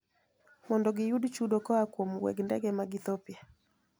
Mondo giyud chudo koa kuom weg ndege mar Ethiopia,"